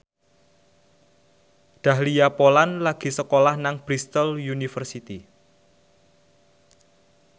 Dahlia Poland lagi sekolah nang Bristol university